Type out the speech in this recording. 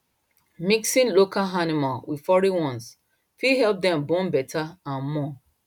mixing local animal with foreign one fit help them born better and more